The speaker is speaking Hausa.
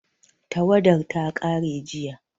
Tawadar ta ƙare jiya